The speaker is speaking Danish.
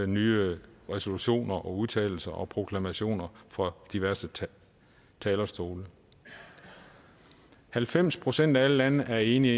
nye resolutioner og udtalelser og proklamationer fra diverse talerstole halvfems procent af alle lande er enige